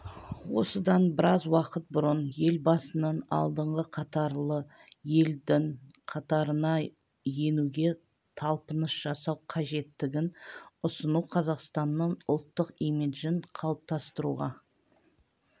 осыдан біраз уақыт бұрын елбасының алдыңғы қатарлы елдің қатарына енуге талпыныс жасау қажеттігін ұсыну қазақстанның ұлттық имиджін қалыптастыруға